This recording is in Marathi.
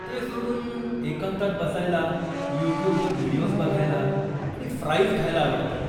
ते सोडून, एकांतात बसायला, यूट्यूब वर व्हिडियोज बघायला आणि फ्राईज खायला आवडतं.